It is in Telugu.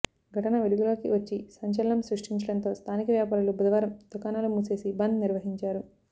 ఘటన వెలుగులోకి వచ్చి సంచలనం సృష్టించడంతో స్థానిక వ్యాపారులు బుధవారం దుకాణాలు మూసేసి బంద్ నిర్వహించారు